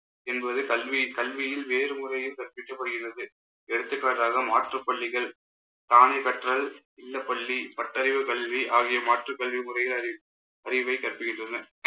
என்பது கல்வி கல்வியில் வேறு முறையில் கற்பிக்கப்படுகிறது எடுத்துக்காட்டாக மாற்றுப் பள்ளிகள் தானே கற்றல் இல்லப்பள்ளி பட்டறிவு கல்வி ஆகிய மாற்றுக் கல்வி முறையில் அறி~ அறிவைக் கற்பிக்கின்றனர்.